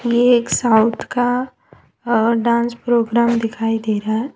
ये एक साउथ का डांस प्रोग्राम दिखाई दे रहा है।